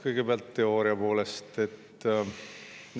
Kõigepealt teooriapoolest.